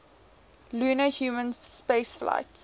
lunar human spaceflights